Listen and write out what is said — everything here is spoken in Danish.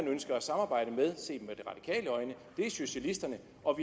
ønsker at samarbejde med er socialisterne og vi